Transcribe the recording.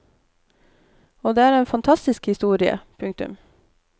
Og det er en fantastisk historie. punktum